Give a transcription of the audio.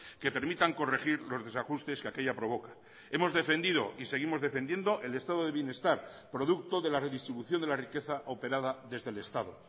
que permitan corregir los desajustes que aquella provoca hemos defendido y seguimos defendiendo el estado de bienestar producto de la redistribución de la riqueza operada desde el estado